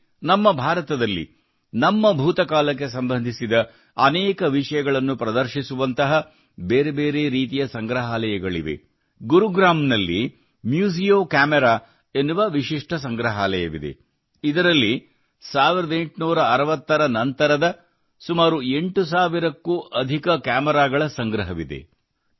ಇಲ್ಲಿ ನಮ್ಮ ಭಾರತದಲ್ಲಿ ನಮ್ಮ ಭೂತಕಾಲಕ್ಕೆ ಸಂಬಂಧಿಸಿದ ಅನೇಕ ವಿಷಯಗಳನ್ನು ಪ್ರದರ್ಶಿಸುವಂತಹ ಬೇರೆ ಬೇರೆ ರೀತಿಯ ಸಂಗ್ರಹಾಲಯಗಳಿವೆ ಗುರುಗ್ರಾಮ್ ನಲ್ಲಿ ಮ್ಯೂಸಿಯೊ ಕ್ಯಾಮರಾ ಎನ್ನುವ ವಿಶಿಷ್ಠ ಸಂಗ್ರಹಾಲಯವಿದೆ ಇದರಲ್ಲಿ 1860 ರ ನಂತರದ ಸುಮಾರು 8 ಸಾವಿರಕ್ಕೂ ಅಧಿಕ ಕ್ಯಾಮೆರಾಗಳ ಸಂಗ್ರಹವಿದೆ